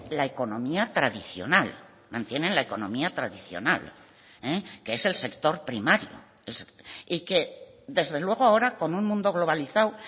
la economía tradicional mantienen la economía tradicional que es el sector primario y que desde luego ahora con un mundo globalizado